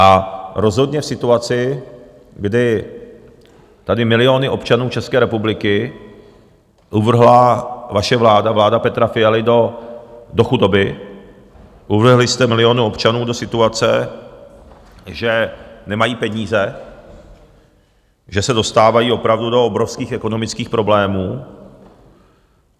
A rozhodně v situaci, kdy tady miliony občanů České republiky uvrhla vaše vláda, vláda Petra Fialy, do chudoby, uvrhli jste miliony občanů do situace, že nemají peníze, že se dostávají opravdu do obrovských ekonomických problémů...